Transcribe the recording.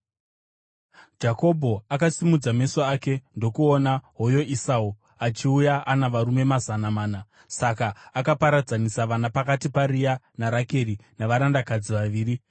Jakobho akasimudza meso ake ndokuona hoyo Esau, achiuya ana varume mazana mana; saka akaparadzanisa vana pakati paRea naRakeri navarandakadzi vaviri.